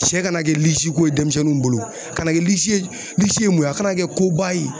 Sɛ kana kɛ lisiko ye denmisɛnninw bolo a kana kɛ lisi ye lisi ye mun ye a kana kɛ koba ye.